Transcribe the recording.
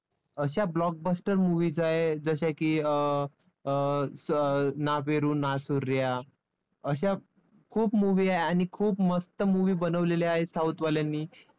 अशा blockbuster movies आहेत, जशा की अं ना बेरू ना सूर्या अशा खूप movie आहे आणि खूप मस्त movie बनवलेल्या आहेत south वाल्यांनी